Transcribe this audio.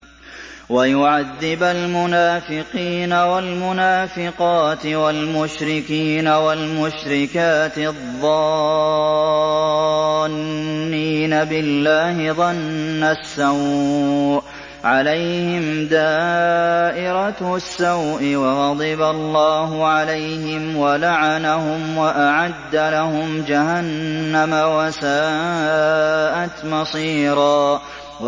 وَيُعَذِّبَ الْمُنَافِقِينَ وَالْمُنَافِقَاتِ وَالْمُشْرِكِينَ وَالْمُشْرِكَاتِ الظَّانِّينَ بِاللَّهِ ظَنَّ السَّوْءِ ۚ عَلَيْهِمْ دَائِرَةُ السَّوْءِ ۖ وَغَضِبَ اللَّهُ عَلَيْهِمْ وَلَعَنَهُمْ وَأَعَدَّ لَهُمْ جَهَنَّمَ ۖ وَسَاءَتْ مَصِيرًا